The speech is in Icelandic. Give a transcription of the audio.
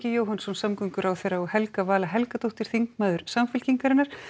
Jóhannsson samgönguráðherra og Helga Vala Helgadóttir þingmaður Samfylkingarinnar